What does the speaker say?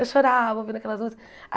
Eu chorava ouvindo aquelas músicas.